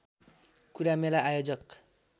कुरा मेला आयोजक